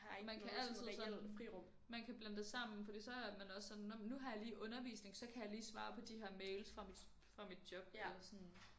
Og man kan altid sådan man kan blande det sammen fordi så er man også sådan nå men nu har jeg lige undervisning så kan jeg lige svare på de her mails sådan fra mit fra mit job eller sådan